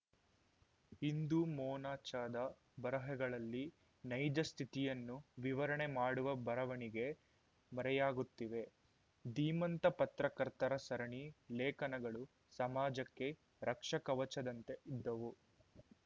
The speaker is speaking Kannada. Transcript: ಇಂದು ಮೊನಚಾದ ಬರಹಗಳಲ್ಲಿ ನೈಜ ಸ್ಥಿತಿಯನ್ನು ವಿವರಣೆ ಮಾಡುವ ಬರವಣಿಗೆ ಮರೆಯಾಗುತ್ತಿವೆ ಧೀಮಂತ ಪತ್ರಕರ್ತರ ಸರಣಿ ಲೇಖನಗಳು ಸಮಾಜಕ್ಕೆ ರಕ್ಷಕವಚದಂತೆ ಇದ್ದವು